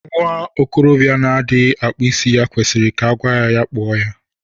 Nwa okorobịa na-adịghị akpụ isí ya kwesịrị ka agwa ya kpụọ ya.